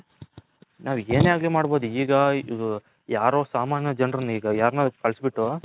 ನಾವು ಏನೆ ಅರ್ಗು ಮಡ್ಬೌದು ಈಗ ಯಾರೊ ಸಾಮನ್ಯ ಜನರನ್ನ ಈಗ ಯಾರನ್ನೋ ಕಳಿಸಿ ಬಿಟ್ಟು